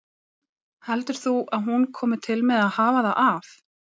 Heldur þú að hún komi til með að hafa það af?